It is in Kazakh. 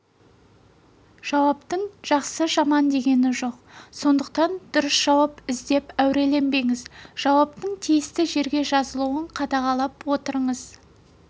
жауаптың жақсы жаман дегені жоқ сондықтан дұрыс жауап іздеп әуреленбеңіз жауаптың тиісті жерге жазылуын қадағалап отырыңыз